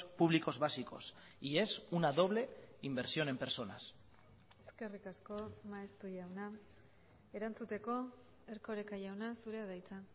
públicos básicos y es una doble inversión en personas eskerrik asko maeztu jauna erantzuteko erkoreka jauna zurea da hitza